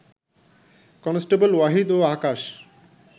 constable Wahid ও আকাশ